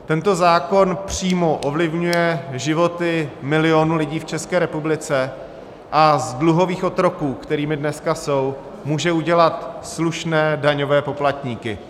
Tento zákon přímo ovlivňuje životy milionů lidí v České republice a z dluhových otroků, kterými dneska jsou, může udělat slušné daňové poplatníky.